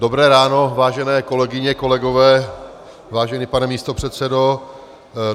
Dobré ráno, vážené kolegyně, kolegové, vážený pane místopředsedo.